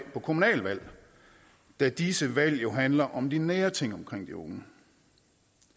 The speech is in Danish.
på kommunalvalg da disse valg jo handler om de nære ting omkring de unge